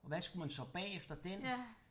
Og hvad skulle man så bagefter den